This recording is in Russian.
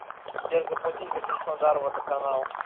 сбер заплатить за краснодар водоканал